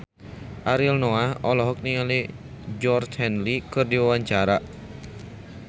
Ariel Noah olohok ningali Georgie Henley keur diwawancara